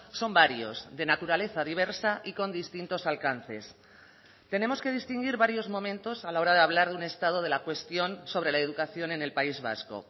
son varios de naturaleza diversa y con distintos alcances tenemos que distinguir varios momentos a la hora de hablar de un estado de la cuestión sobre la educación en el país vasco